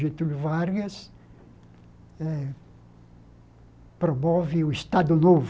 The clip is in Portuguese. Getúlio Vargas eh promove o Estado Novo,